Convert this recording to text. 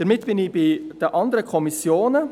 Damit komme ich zu den anderen Kommissionen.